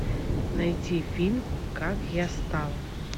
найти фильм как я стал